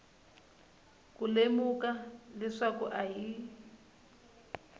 ku lemuka leswaku a hi